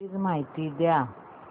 please माहिती द्या